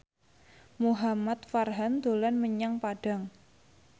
Muhamad Farhan dolan menyang Padang